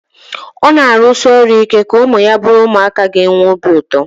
Ọ na-arụsi ọrụ ike ka ụmụ ya bụrụ ụmụaka ga-enwe obi ụtọ